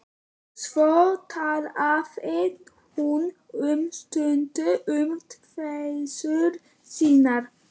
Svo talaði hún um stund um kveisur sínar.